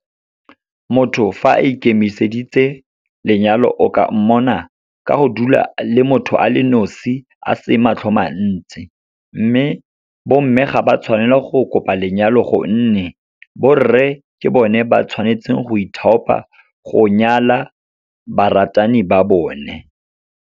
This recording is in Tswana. Motho fa a ikemiseditse lenyalo o ka mmona ka go dula le motho a le nosi a se matlho mantsi. Mme bo mme ga ba tshwanela go kopa lenyalo gonne, borre ke bone ba tshwanetseng go ithaopa go nyala baratani ba bone.